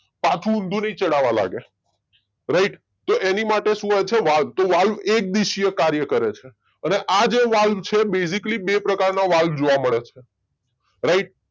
પાછુ ઊંધું નહી ચઢાવા લાગે રાઈટ. તો એની માટે શું હોય છે વાલ તો વાલ એક દીશીય કાર્ય કરે છે અને આ જે વાલ છે બેઝીકલી બે પ્રકારના વાલ જોવ મળે છે રાઈટ